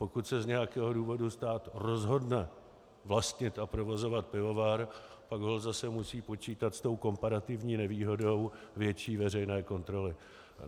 Pokud se z nějakého důvodu stát rozhodne vlastnit a provozovat pivovar, pak holt zase musí počítat s tou komparativní nevýhodou větší veřejné kontroly.